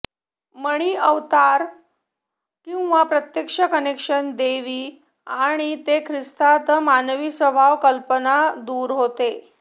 मणी अवतार किंवा प्रत्यक्ष कनेक्शन दैवी आणि जे ख्रिस्तात मानवी स्वभाव कल्पना दूर होते